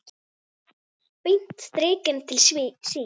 Beint strik inn til sín.